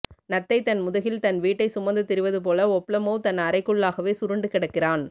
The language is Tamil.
நத்தை தன் முதுகில் தன் வீட்டை சுமந்து திரிவது போல ஒப்லமோவ் தன் அறைக்குள்ளாகவே சுருண்டு கிடக்கிறான்